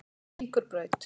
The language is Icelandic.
Víkurbraut